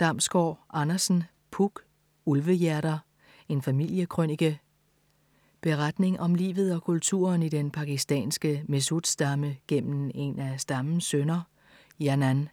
Damsgård Andersen, Puk: Ulvehjerter: en familiekrønike Beretning om livet og kulturen i den pakistanske mehsud-stamme gennem en af stammens sønner Janan.